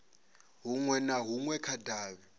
hunwe na hunwe kha davhi